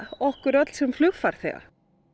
okkur öll sem flugfarþega